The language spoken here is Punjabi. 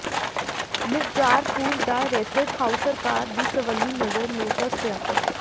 ਮਿਰਜ਼ਾਰਪੁਰ ਦਾ ਰੈਸਟ ਹਾਊਸ ਸਰਕਾਰ ਦੀ ਸਵੱਲੀ ਨਜ਼ਰ ਨੂੰ ਤਰਸਿਆ